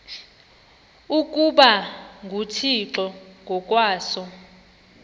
ukuba nguthixo ngokwaso